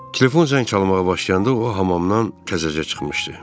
Telefon zəng çalmağa başlayanda o hamamdan təzəcə çıxmışdı.